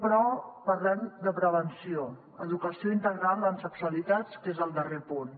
però parlem de prevenció educació integral en sexualitats que és el darrer punt